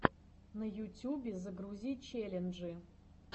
на ютюбе загрузи челленджи